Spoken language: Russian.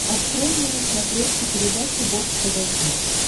открой мне на смотрешке передачу бокс тв плюс